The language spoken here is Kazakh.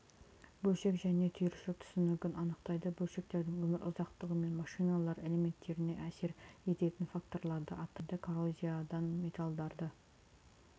бөлшек және түйіршік түсінігін анықтайды бөлшектердің өмір ұзақтығы мен машиналар элементтеріне әсер ететін факторларды атайды коррозиядан металдарды